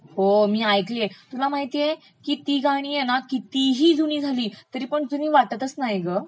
हो ऐकलिय, तुला माहितेय का ती गाणी हे ना कितीही जुनी झाली तरी जुनी वाटतचं नाहीत गं